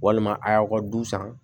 Walima a y'aw ka du san